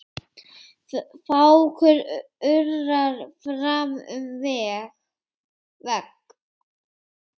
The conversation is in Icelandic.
Fákur urrar fram um veg.